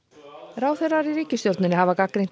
ráðherrar í ríkisstjórninni hafa gagnrýnt